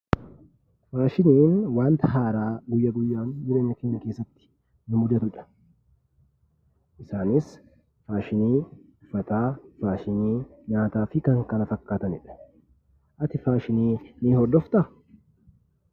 Faashiniin wanta haaraa guyya guyyaan jireenya keenya keessatti nu mudatudha. Isaanis maashinii uffataa, maashinii nyaataa fi kan kana fakkaatanidha. Ati faashinii ni hordoftaa?